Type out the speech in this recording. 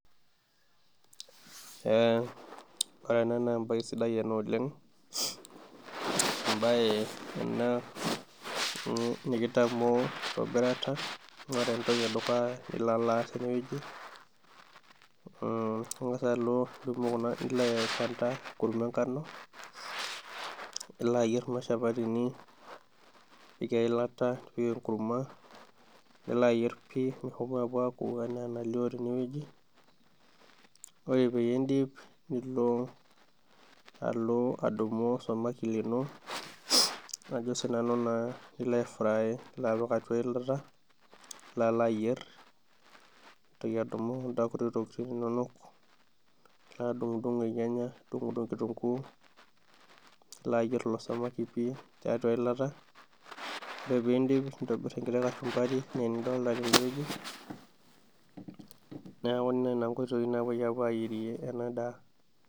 Ee ore ena naa embae sidai ena oleng', embae ena nikitamoo enkitobirata, ore entoki edukuya nilo alo aasa tenewoji muuh ingosa alo aikanta enkurma engano, nilo ayier kuna shapatini, nipik eilata nipik enkurma, nilo alo ayier pii enaa enalio tenewoji, ore peyie iidip nilo alo adumu osamaki lino ajo sinanu naa nilo ai fry nilo apik atua eyilat nilo alo ayier nintoki adumu kunda kuti tokitin inono, nilo adungudung ilnyanya nidungdung kitunguu, nilo ayier ilo samaki pii tiatua eyilata, ore piidip nintobir enkiti kachumbari eneenidolita tende woji, neeku nena inkoitoi naapoi ayierie ena daa.